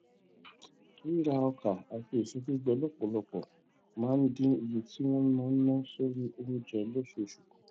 rírà ọkà àti èso gbígbẹ lópòlọpò máa ń dín iye tí wón ń ná sórí oúnjẹ lóṣooṣù kù